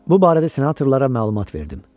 Bu barədə senatorlara məlumat verdim.